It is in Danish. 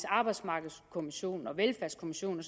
arbejdsmarkedskommissionen og velfærdskommissionen